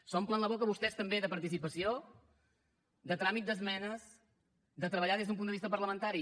s’omplen la boca vostès també de participació de tràmit d’esmenes de treballar des d’un punt de vista parlamentari